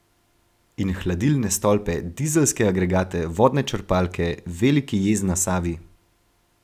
In hladilne stolpe, dizelske agregate, vodne črpalke, veliki jez na Savi ...